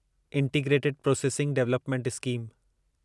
integrated processing development scheme